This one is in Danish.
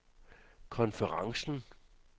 konferencen